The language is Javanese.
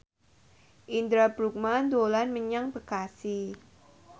Indra Bruggman dolan menyang Bekasi